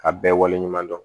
A bɛɛ waleɲuman dɔn